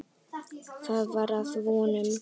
Það var að vonum.